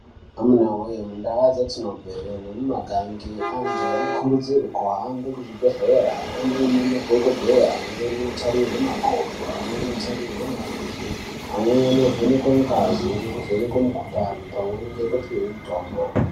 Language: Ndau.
Amunawe mundaa dzatinobveyo nemumigange anhu anokurudzirwe kuhambe kuzvibhedhlera onoone madhokodheya amweni otarirwe makodo amweni otarirwe mirenje, amweni ovhenekwe ngazi nekuvhenekwe mikhuhlani pamweni nekupihwe mitombo.